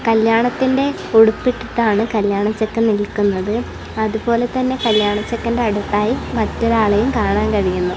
കല്യാണത്തിന്റെ ഉടുപ്പിട്ടിട്ടാണ് കല്യാണ ചെക്കൻ നിൽക്കുന്നത് അത് പോലെത്തന്നെ കല്യാണ ചെക്കന്റെ അടുത്തായി മറ്റൊരാളെയും കാണാൻ കഴിയുന്നു.